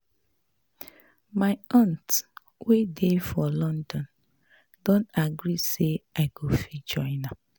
My aunt wey dey for London don agree say I go fit join am